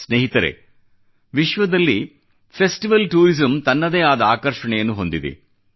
ಸ್ನೇಹಿತರೇ ವಿಶ್ವದಲ್ಲಿ festival tourism ತನ್ನದೇ ಆದ ಆಕರ್ಷಣೆಯನ್ನು ಹೊಂದಿದೆ